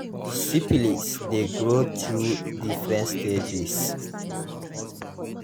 syphilis de grow through different stages